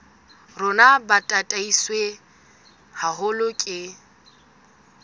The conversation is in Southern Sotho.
rona bo tataiswe haholo ke